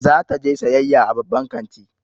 Za ta je sayayya a babban kanti.